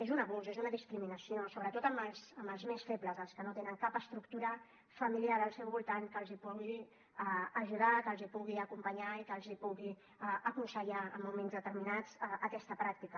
és un abús és una discriminació sobretot amb els més febles els que no tenen cap estructura familiar al seu voltant que els pugui ajudar que els pugui acompanyar i que els pugui aconsellar en moments determinats aquesta pràctica